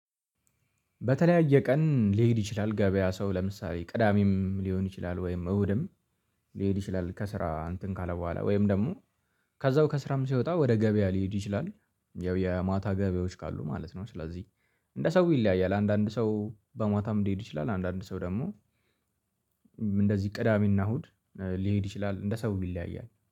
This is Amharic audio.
በተለያየ ቀን ሊሄድ ይችላል ገበያ ሰው ለምሳሌ ቅዳሜም ሊሆን ይችላል ወይም እሁድም ሊሄድ ይችላል። ከስራ እንትን ካለ በኋላ ወይም ደግሞ ከዛው ከስራም ሲወጣ ወደ ገበያ ሊሄድ ይችላል ያው የማታ ገበያዎች ካሉ ማለት ነው። ስለዚህ እንደ ሰው ይለያያል አንዳንድ ሰው በማታም ሊሄድ ይችላል። አንዳንድ ሰው ደግሞ እንደዚህ ቅዳሜና እሁድ ሊሄድ ይችላል። እንደ ሰው ይለያያል